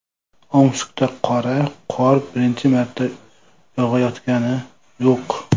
Omskda qora qor birinchi marta yog‘ayotgani yo‘q.